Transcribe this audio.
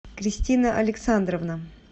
кристина александровна